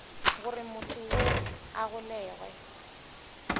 gore motho yoo a golegwe